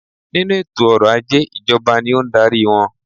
Nínú eto ọrọ̀ ajé ìjọba ni o n darí wọn